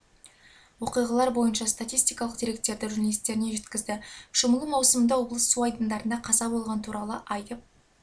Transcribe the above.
оқиғалар бойынша статистикалық деректерді журналистеріне жеткізді шомылу маусымында облыс су айдындарында қаза болған туралы айтып